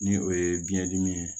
Ni o ye biɲɛ dimi ye